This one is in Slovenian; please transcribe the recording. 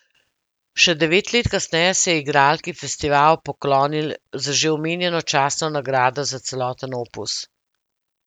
Še devet let kasneje se je igralki festival poklonil z že omenjeno častno nagrado za celoten opus.